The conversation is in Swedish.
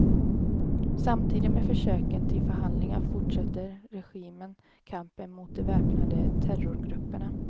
Samtidigt med försöken till förhandlingar fortsätter regimen kampen mot de väpnade terrorgrupperna.